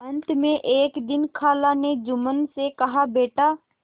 अंत में एक दिन खाला ने जुम्मन से कहाबेटा